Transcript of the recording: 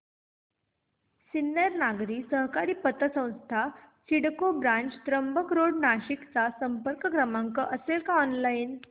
सिन्नर नागरी सहकारी पतसंस्था सिडको ब्रांच त्र्यंबक रोड नाशिक चा संपर्क क्रमांक असेल का ऑनलाइन